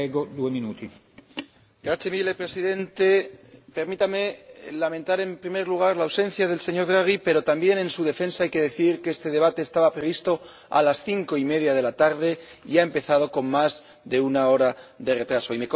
Señor Presidente, permítame lamentar, en primer lugar, la ausencia del señor Draghi, pero también en su defensa hay que decir que este debate estaba previsto a las cinco y media de la tarde y ha empezado con más de una hora de retraso.